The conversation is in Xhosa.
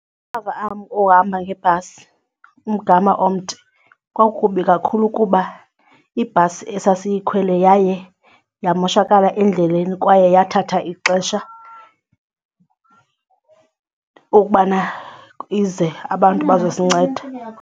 ohamba ngebhasi umgama omde kwakukubi kakhulu kuba ibhasi esasiyikhwele yaye yamoshakala endleleni kwaye yathatha ixesha ukubana ize abantu bazosinceda.